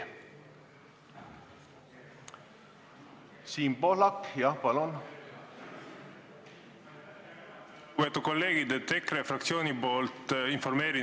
Siim Kallas, palun!